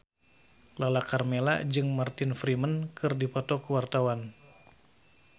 Lala Karmela jeung Martin Freeman keur dipoto ku wartawan